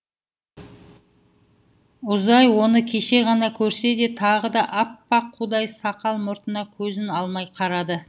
узай оны кеше ғана көрсе де тағы да аппақ қудай сақал мұртына көзін алмай қарады